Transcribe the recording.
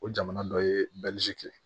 O jamana dɔ ye kɛ